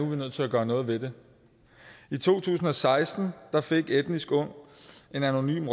vi nødt til at gøre noget ved det i to tusind og seksten fik etnisk ung en anonym